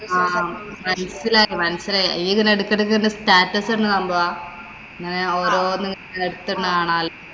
ആഹ് ആഹ് മനസിലായി, മനസിലായി. നീ എടയ്ക്കു എടയ്ക്കു status ഇടുന്ന സംഭവമാ. അങ്ങനെ ഓരോന്ന് എടുത്തിടുന്നെ കാണാലോ.